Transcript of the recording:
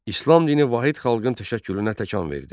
İslam dini vahid xalqın təşəkkülünə təkan verdi.